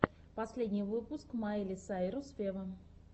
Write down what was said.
последний выпуск майли сайрус вево